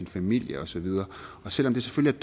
familie og så videre selv om det selvfølgelig